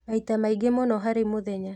Maita maingĩ mũno harĩ mũthenya